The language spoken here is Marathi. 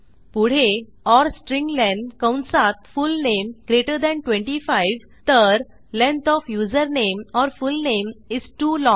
पुढे ओर स्ट्र्लेन कंसात फुलनेम ग्रेटर थान 25 तर length of username or full name is too long